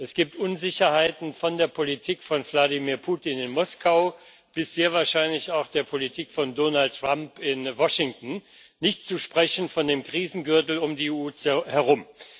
Es gibt Unsicherheiten von der Politik von Wladimir Putin in Moskau bis sehr wahrscheinlich zur Politik von Donald in Washington, nicht zu sprechen von dem Krisengürtel um die EU herum.